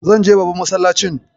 Zan je babban masallacin.